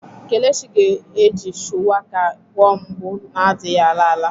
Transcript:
Kelechi ga-eji shuwaka gwọọ mgbu na-adịghị ala ala.